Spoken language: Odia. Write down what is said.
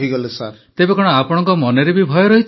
ପ୍ରଧାନମନ୍ତ୍ରୀ ତେବେ କଣ ଆପଣଙ୍କ ମନରେ ବି ଭୟ ରହିଛି